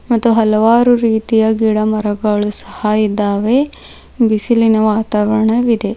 ಮತ್ತು ಹಲವಾರು ರೀತಿಯ ಗಿಡ ಮರಗಳು ಸಹ ಇದ್ದಾವೆ ಬಿಸಿಲಿನ ವಾತಾವರಣವಿದೆ.